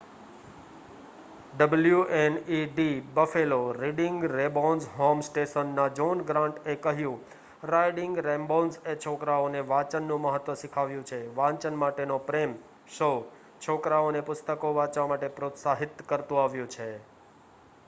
"wned Buffalo reading rainbows home station ના John Grant એ કહ્યું "રાઇડિંગ રેંબોઝએ છોકરાઓને વાચન નું મહત્વ શીખવ્યુ છે,.... વાચન માટે નો પ્રેમ - [શો] છોકરાઓ ને પુસ્તકો વાચવા માટે પ્રોત્સાહિત કરતુ આવ્યુ છે.